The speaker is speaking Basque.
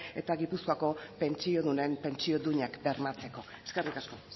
eta gipuzkoako pentsiodunen pentsio duinak bermatzeko eskerrik asko